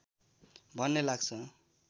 भन्ने लाग्छ